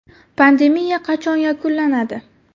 Pandemiya qachon yakunlanadi?